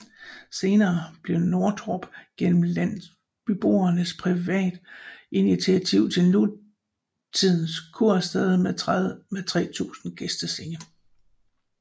Senere blev Nordtorp gennem landsbyboernes privatinitiativ til nutidend kursted med 3000 gæstesennge